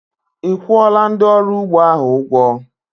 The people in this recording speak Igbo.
Ị́ kwuọla ndị ọrụ ugbo ahụ ụgwọ?